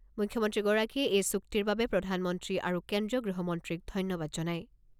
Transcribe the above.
মুখ্যমন্ত্ৰীগৰাকীয়ে এই চুক্তিৰ বাবে প্ৰধানমন্ত্ৰী আৰু কেন্দ্ৰীয় গৃহমন্ত্ৰীক ধন্যবাদ জনায়।